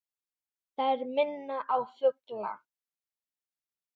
Þær minna á fugla.